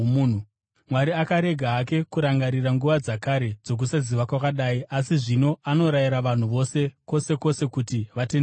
Mwari akarega hake kurangarira nguva dzakare dzokusaziva kwakadai, asi zvino anorayira vanhu vose kwose kwose kuti vatendeuke.